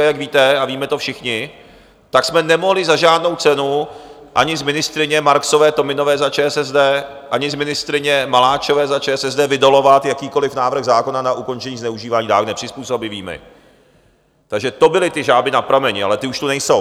A jak víte, a víme to všichni, tak jsme nemohli za žádnou cenu ani z ministryně Marksové Tominové za ČSSD, ani z ministryně Maláčové za ČSSD vydolovat jakýkoli návrh zákona na ukončení zneužívání dávek nepřizpůsobivými, takže to byly ty žáby na prameni, ale ty už tu nejsou.